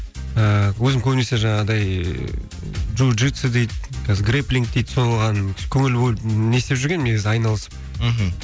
ііі өзім көбінесе жаңағыдай джуджитсу дейді гриплинг дейді соған көңіл бөліп не істеп жүргенмін айналысып мхм